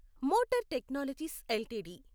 మెటార్ Technologies LTD